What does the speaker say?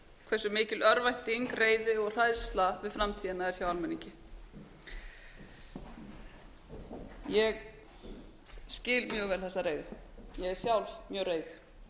hversu mikil örvænting reiði og hræðsla við framtíðina er hjá almenningi ég skil mjög vel þessa reiði ég er sjálf mjög reið